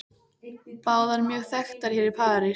Báðar mjög þekktar hér í París.